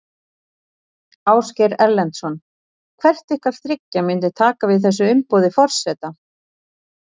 Ásgeir Erlendsson: Hvert ykkar þriggja myndi taka við þessu umboði forseta?